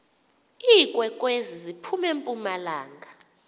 iinkwenkwezi ziphum empumalanga